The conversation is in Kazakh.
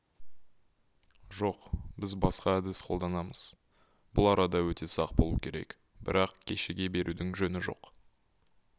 жоқ біз басқа әдіс қолданамыз бұл арада өте сақ болу керек бірақ кешіге берудің жөні жоқ